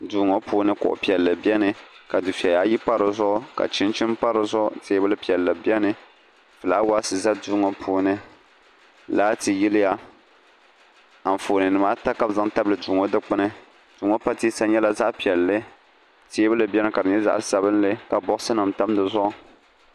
duu ŋɔ puuni kuɣ' piɛlli beni ka dufɛya ayi pa di zuɣu ka chinchini pa zuɣu teebuli piɛlli beni fulaawaasi za duu ŋɔ puuni laati yiliya anfooninima ata ka bɛ zaŋ tabili duu ŋɔ dikpuni duu ŋɔ pateesa nyɛla zaɣ' piɛlli teebuli beni ka di nyɛ zaɣ' piɛlli ka bɔgisinima tam di zuɣu